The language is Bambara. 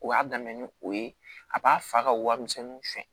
O y'a daminɛ ni o ye a b'a fa ka warimisɛnninw suyɛn